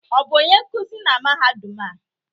Ọ bụ onye nkuzi na mahadum a?